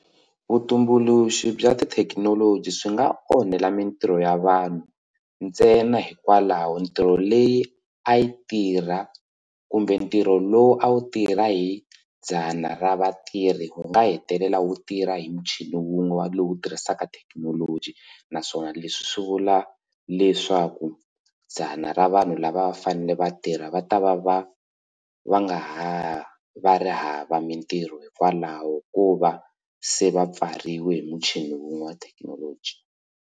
Vutumbuluxi bya tithekinoloji swi nga onhela mitirho ya vanhu ntsena hikwalaho ntirho leyi a yi tirha kumbe ntirho lowu a wu tirha hi dzana ra vatirhi wu nga hetelela wu tirha hi muchini wun'we lowu tirhisaka thekinoloji naswona leswi swi vula leswaku dzana ra vanhu lava fanele vatirha va ta va va va nga ha va ri hava mitirho hikwalaho ka ku va se va pfariwe hi muchini wun'we wa thekinoloji.